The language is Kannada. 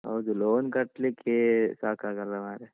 ಹೌದು loan ಕಟ್ಲಿಕ್ಕೇ ಸಾಕಾಗಲ್ಲ ಮಾರ್ರೆ.